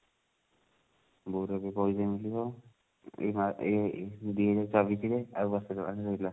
ବଉ ର ଏବେ ପଇସା ମିଳିଥିବ ଏଇ ମା ଏଇ ଦୁଇ ହଜାର ଚବିଶ ରେ ଆଉ ବର୍ଷେ ଛଅ ମାସ ରହିଲା